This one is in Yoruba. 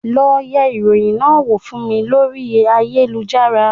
Lọ yẹ ìròyìn náà wò fún mi lórí ayélujára